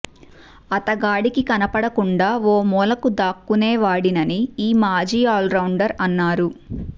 అతగాడికి కనపడకుండా ఓ మూలకు దాక్కుకునేవాడినని ఈ మాజీ ఆల్రౌండర్ అన్నారు